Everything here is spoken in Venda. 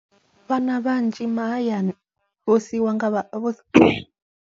Vhana vhanzhi mahayani vho siiwa nga vha vho siiwa .